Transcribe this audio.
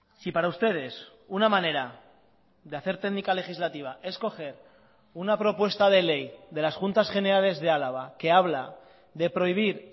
si para ustedes una manera de hacer técnica legislativa es coger una propuesta de ley de las juntas generales de álava que habla de prohibir